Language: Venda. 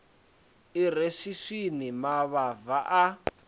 i re swiswini mavhava a